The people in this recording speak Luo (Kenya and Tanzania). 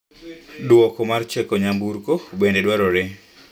Lipot mar cheko nyamburko bende dwarore.